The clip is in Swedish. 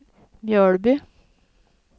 Mjölby